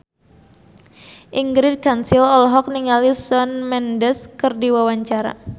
Ingrid Kansil olohok ningali Shawn Mendes keur diwawancara